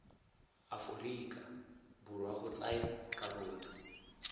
aforika borwa go tsaya karolo